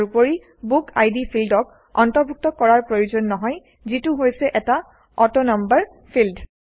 ইয়াৰ উপৰি বুকিড ফিল্ডক অন্তৰ্ভুক্ত কৰাৰ প্ৰয়োজন নহয় যিটো হৈছে এটা অটোনাম্বাৰ ফিল্ড